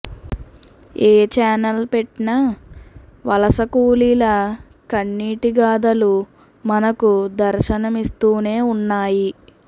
ఏ channel పెట్టినా వలసకూలీల కన్నీటి గాధలు మనకు దర్శనమిస్తూనే ఉన్నాయి